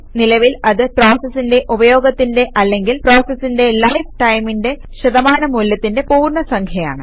നിലവിൽ അത് പ്രോസസിന്റെ ഉപയോഗത്തിന്റെ അല്ലെങ്കിൽ പ്രോസസിന്റെ ലൈഫ് ടൈമിന്റെ ശതമാനമൂല്യത്തിന്റെ പൂർണ്ണ സംഖ്യയാണ്